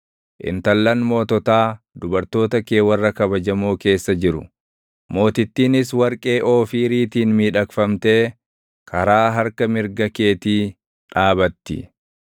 Intallan moototaa dubartoota kee warra kabajamoo keessa jiru; mootittiinis warqee Oofiiriitiin miidhagfamtee karaa harka mirga keetii dhaabatti.